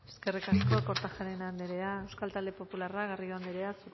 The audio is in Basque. eskerrik asko kortajarena andrea euskal talde popularra garrido andrea